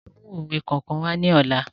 Ẹ mú òwe kọ̀ọ̀kan wá ní ọ̀la